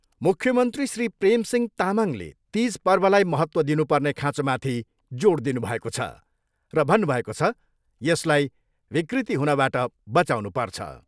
मुख्यमन्त्री श्री प्रेम सिंह तामाङले तिज पर्वलाई महत्त्व दिनुपर्ने खाँचोमाथि जोड दिनुभएको छ र भन्नु भएको छ, यसलाई विकृति हुनबाट बचाउनु पर्छ।